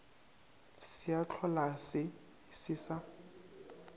se a hlolase se sa